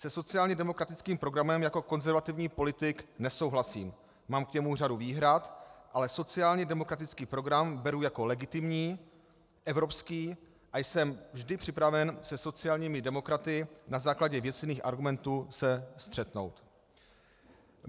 Se sociálně demokratickým programem jako konzervativní politik nesouhlasím, mám k němu řadu výhrad, ale sociálně demokratický program beru jako legitimní, evropský a jsem vždy připraven se sociálními demokraty na základě věcných argumentů se střetnout.